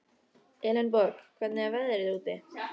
Elenborg, hvernig er veðrið úti?